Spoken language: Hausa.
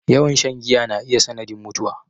Yawan shan giya na iya sanadin mutuwa